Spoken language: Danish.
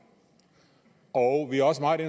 og vi er også meget